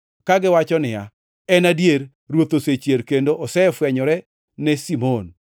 kagiwacho niya, “En adier! Ruoth osechier kendo osefwenyore ne Simon.”